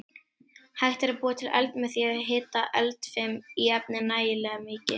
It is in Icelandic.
Hægt er að búa til eld með því að hita eldfim efni nægilega mikið.